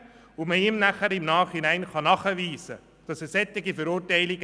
doch man kann im Nachhinein beweisen, dass er verurteilt wurde.